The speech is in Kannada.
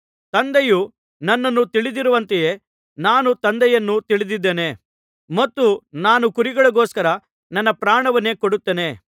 ತಂದೆಯು ನನ್ನನ್ನು ತಿಳಿದಿರುವಂತೆಯೇ ನಾನು ತಂದೆಯನ್ನು ತಿಳಿದಿದ್ದೇನೆ ಮತ್ತು ನಾನು ಕುರಿಗಳಿಗೋಸ್ಕರ ನನ್ನ ಪ್ರಾಣವನ್ನೇ ಕೊಡುತ್ತೇನೆ